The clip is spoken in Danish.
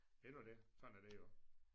Det nu det sådan er det jo